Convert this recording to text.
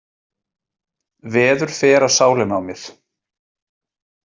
Veður fer á sálina á mér.